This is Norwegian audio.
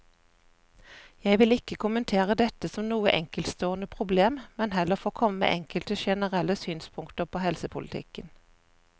Jeg vil ikke kommentere dette som noe enkeltstående problem, men heller få komme med enkelte generelle synspunkter på helsepolitikken.